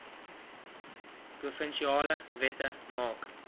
provinsiale wette maak